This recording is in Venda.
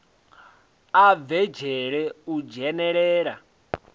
a bve dzhele u dzhenelela